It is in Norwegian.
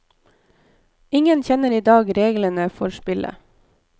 Ingen kjenner i dag reglene for spillet.